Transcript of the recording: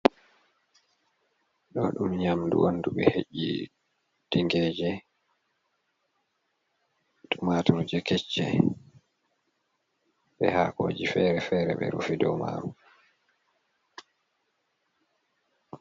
Ɗi o ɗum nyamdu on du ɓe he'i tingere be tumaturji kecce, be haakoji fere fere ɓe rufi ha dow maru.